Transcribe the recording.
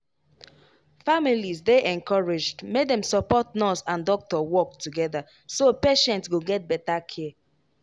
families dey encouraged make dem support nurse and doctor work together so patient go get better care.